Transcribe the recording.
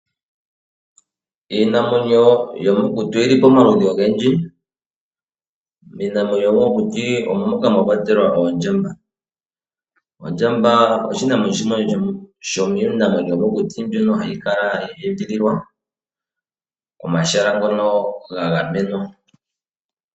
Iinamwenyo yomokuti oyi li pomaludhi ogendji. Miinamwenyo yomokuti omo moka mwa kwatelwa ondjamba. Ondjamba oshinamwenyo shimwe sho miinamwenyo yo mokuti mbyono hayi kala ya edhililwa komahala ngono ga gamenwa.